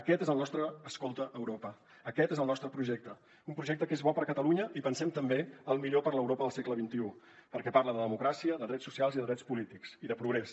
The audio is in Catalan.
aquest és el nostre escolta europa aquest és el nostre projecte un projecte que és bo per a catalunya i pensem també el millor per a l’europa del segle xxi perquè parla de democràcia de drets socials i de drets polítics i de progrés